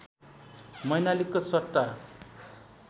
मैनालीको सट्टा